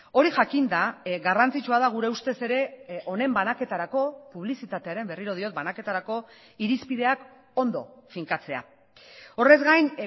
hori jakinda garrantzitsua da gure ustez ere honen banaketarako publizitatearen berriro diot banaketarako irizpideak ondo finkatzea horrez gain